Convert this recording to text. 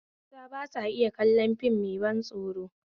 Mata ba sa iya kallon fim mai ban tsoro